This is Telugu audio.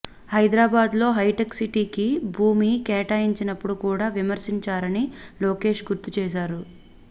హైదరాబాద్లో హైటెక్ సిటీకి భూమి కేటాయించినప్పుడు కూడా విమర్శించారని లోకేశ్ గుర్తు చేశారు